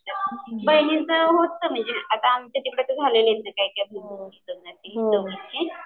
बहिणीचं होतं म्हणजे आता आमच्या इथं झालंय काही काही